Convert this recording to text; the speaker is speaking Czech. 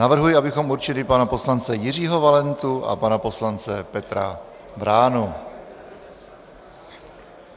Navrhuji, abychom určili pana poslance Jiřího Valentu a pana poslance Petra Vránu.